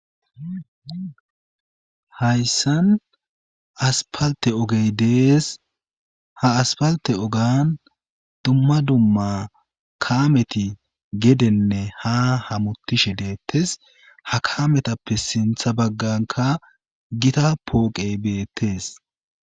Hayssan aspalte ogey dees ha aspalte ogan dumma dumma kaameti gedenne ha hamutishe deettes ha kametappe sintha bagganka gita pooqe beettees.